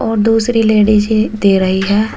और दूसरी लेडिज है दे रही है।